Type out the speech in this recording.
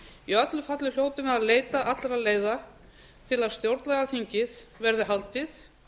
í öllu falli hljótum við að leita allra leiða til að stjórnlagaþingið verði haldið